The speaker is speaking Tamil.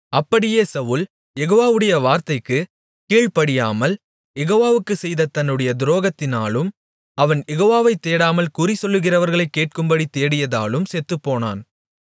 அப்படியே சவுல் யெகோவாவுடைய வார்த்தைக்கு கீழ்ப்படியாமல் யெகோவாவுக்குச் செய்த தன்னுடைய துரோகத்தினாலும் அவன் யெகோவாவை தேடாமல் குறி சொல்லுகிறவர்களைக் கேட்கும்படி தேடியதாலும் செத்துப்போனான்